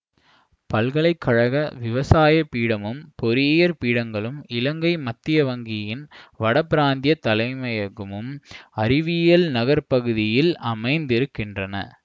பல்கலை கழக விவசாய பீடமும் பொறியியற் பீடங்களும் இலங்கை மத்திய வங்கியின் வடபிராந்தியத் தலைமையகமும் அறிவியல் நகர்ப்பகுதியில் அமைந்திருக்கின்றன